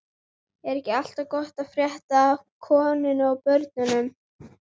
Er ekki allt gott að frétta af konunni og börnunum?